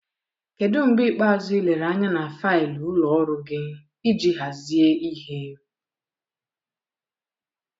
Kedu mgbe ikpeazụ ị lere anya na faịlụ ụlọ ọrụ gị iji hazie ihe?